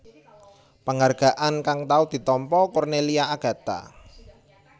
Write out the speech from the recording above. Penghargaan kang tau ditampa Cornelia Agatha